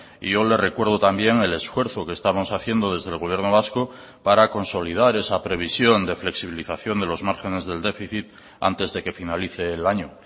y yo le recuerdo también el esfuerzo que estamos haciendo desde el gobierno vasco para consolidar esa previsión de flexibilización de los márgenes del déficit antes de que finalice el año